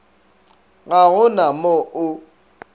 ga go na mo o